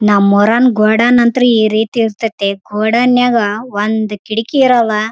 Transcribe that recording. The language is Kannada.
ಇಲ್ಲಿ ನಾನು ನೋಡುತ್ತಿರುವ ಬಿಲ್ಡಿಂಗ್ ಕಾಣಿಸುತ್ತದೆ ಆ ಬಿಲ್ಡಿಂಗ್ --